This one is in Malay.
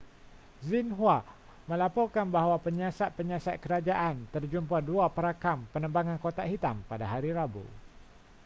xinhua melaporkan bahwa penyiasat-penyiasat kerajaan terjumpa dua perakam penerbangan kotak hitam pada hari rabu